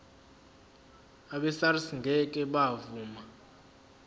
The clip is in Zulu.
abesars ngeke bavuma